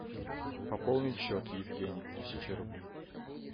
пополнить счет евгений тысяча рублей